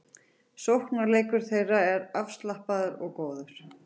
Sóknarleikur þeirra er afslappaður og góður